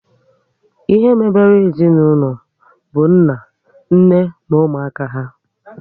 Ihe mebere ezinaụlọ bụ nna, nne na ụmụaka há